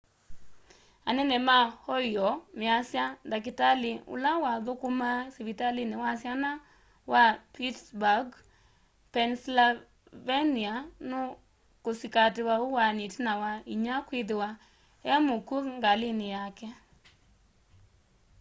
anene ma ohio measya ndakitali ula wathukumaa sivitalia wa syana wa pittsburgh pennsylvania nukusikatiwa uwaani itina wa inya kwithiwa e mukwu ngalini yake